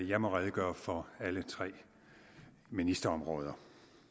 jeg må redegøre for alle tre ministerområder